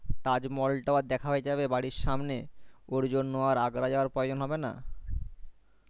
তাজমহল তাও আর দেখা হয় যাবে বাড়ির সামনে ওর জন্য আর Agra যাওয়ার প্রয়োজন হবে না